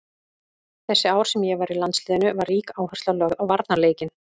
Þessi ár sem ég var í landsliðinu var rík áhersla lögð á varnarleikinn.